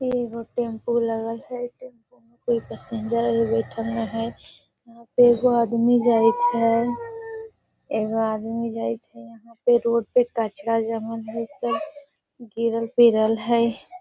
एगो टेंपू लगल हेय कोई पैसेंजर आर बैठएल ने हेय यहां पे एगो आदमी जाएत हेय एगो आदमी जाएत हेय यहां पे रोड पे कचरा जमा हेय सब गिरल पिरल हेय।